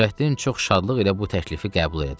Nurəddin çox şadlıq ilə bu təklifi qəbul elədi.